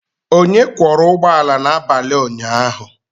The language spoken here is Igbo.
Onye kwọra ụgbọ ala n'abalị ụnyaahụ?